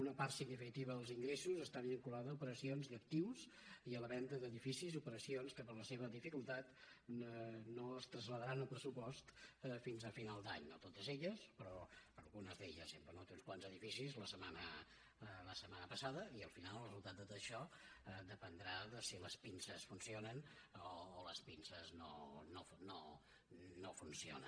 una part significativa dels ingressos està vinculada a operacions d’actius i a la venda d’edificis operacions que per la seva dificultat no es traslladaran al pressupost fins a final d’any no totes elles però algunes d’elles hem venut uns quants edificis la setmana passada i al final el resultat de tot això dependrà de si les pinces funcionen o les pinces no funcionen